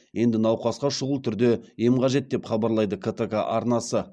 енді науқасқа шұғыл түрде ем қажет деп хабарлайды ктк арнасы